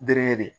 Bere de